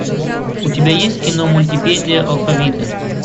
у тебя есть кино мультипедия алфавита